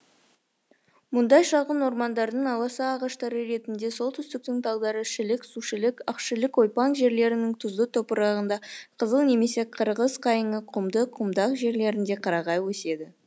мұндай шағын ормандардың аласа ағаштары ретінде солтүстіктің талдары шілік сушілік ақшілік ойпаң жерлерінің тұзды топырағында қызыл немесе қырғыз қайыңы құмды құмдақ жерлерінде қарағай өседі